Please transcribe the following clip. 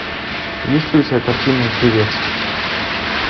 есть ли у тебя картина певец